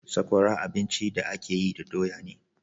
Sakwara abinci da a ke yi da doya ne